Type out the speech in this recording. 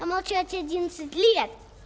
помолчать одиннадцать лет